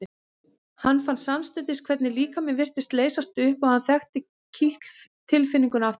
Hann fann samstundis hvernig líkaminn virtist leysast upp og hann þekkti kitl tilfinninguna aftur.